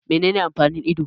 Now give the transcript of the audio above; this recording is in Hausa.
Menene amfanin ido?